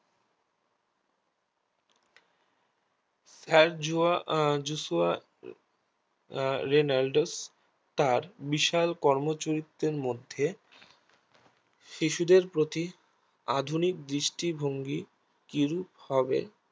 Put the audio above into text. হ্যাল জুয়া আহ জুসুয়া আহ রেনালডোস তাঁর বিশাল কর্ম চরিত্রের মধ্যে শিশুদের প্রতি আধুনিক দৃষ্টিভঙ্গি কিরূপ হবে